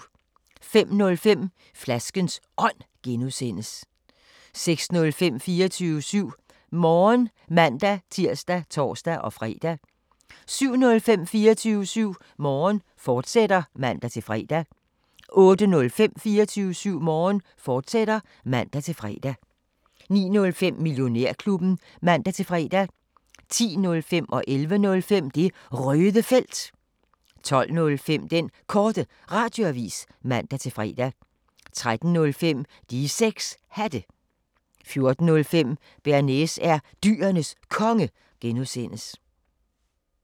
05:05: Flaskens Ånd (G) 06:05: 24syv Morgen (man-tir og tor-fre) 07:05: 24syv Morgen, fortsat (man-fre) 08:05: 24syv Morgen, fortsat (man-fre) 09:05: Millionærklubben (man-fre) 10:05: Det Røde Felt 11:05: Det Røde Felt 12:05: Den Korte Radioavis (man-fre) 13:05: De 6 Hatte 14:05: Bearnaise er Dyrenes Konge (G)